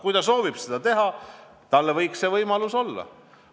Kui ta soovib seda teha, siis tal võiks see võimalus olla.